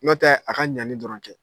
Ɲɔntɛ a ka ɲali dɔrɔn kɛ.